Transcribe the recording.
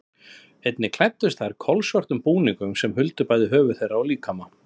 Einnig klæddust þær kolsvörtum búningum sem huldu bæði höfuð þeirra og líkama.